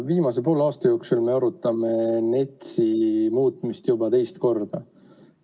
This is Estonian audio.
Viimase poole aasta jooksul me arutame NETS-i muutmist juba teist korda.